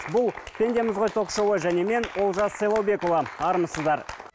бұл пендеміз ғой ток шоуы және мен олжас сайлаубекұлы армысыздар